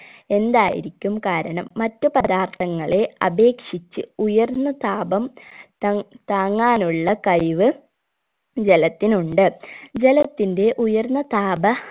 എന്തായിരിക്കും കാരണം മറ്റു പദാർത്ഥങ്ങളെ അപേക്ഷിച് ഉയർന്ന താപം ത താങ്ങാനുള്ള കഴിവ് ജലത്തിനുണ്ട് ജലത്തിന്റെ ഉയർന്ന താപ